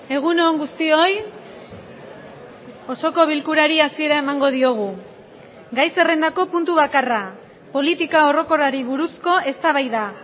egun on guztioi osoko bilkurari hasiera emango diogu gai zerrendako puntu bakarra politika orokorrari buruzko eztabaida